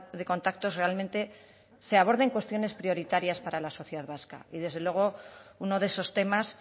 de contactos realmente se aborden cuestiones prioritarias para la sociedad vasca y desde luego uno de esos temas